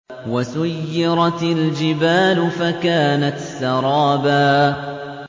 وَسُيِّرَتِ الْجِبَالُ فَكَانَتْ سَرَابًا